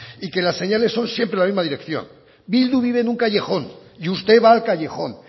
y que las señales son siempre en la misma dirección bildu vive en un callejón y usted va al callejón